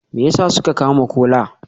Me yasa suka kama Kola?